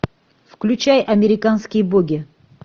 включай американские боги